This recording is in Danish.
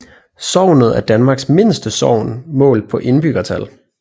Sognet er Danmarks mindste sogn målt på indbyggertal